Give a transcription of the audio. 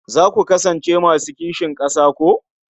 Za ku kasance masu kishin ƙasa ko?